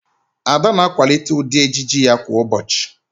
Ada na-akwalite ụdị ejiji ya kwa ụbọchị